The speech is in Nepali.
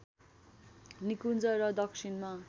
निकुन्ज र दक्षिणमा